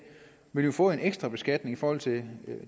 vil jo få en ekstra beskatning i forhold til